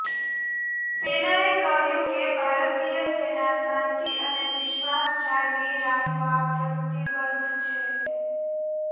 સેનાએ કહ્યું કે ભારતીય સેના શાંતિ અને વિશ્વાસ જાળવી રાખવા પ્રતિબદ્ધ છે